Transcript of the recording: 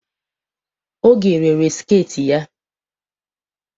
Oge rere sket ya.